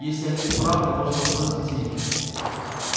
если они исправны можно воспользоваться ими